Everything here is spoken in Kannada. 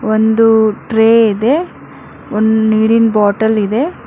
ಒಂದು ಟ್ರೇ ಇದೆ ಒಂದು ನೀರಿನ ಬಾಟಲ್ ಇದೆ.